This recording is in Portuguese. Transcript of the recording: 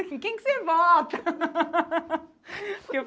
Em quem que você vota?